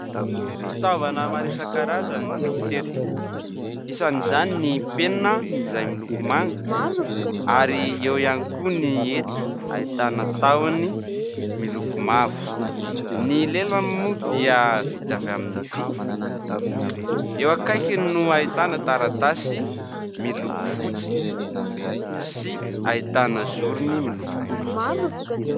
Fitaovana maro isan-karazany no hita eto. Isan'izany ny penina izay miloko manga ary eo ihany koa ny hety ahitana tahony miloko mavo, ny lelany moa dia vita avy amin'ny vỳ. Eo akaikiny no ahitana taratasy miloko fotsy sy ahitana zorony miloko mainty.